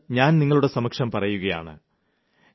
അതിന് ഞാൻ നിങ്ങളുടെ സമക്ഷം പറയുകയാണ്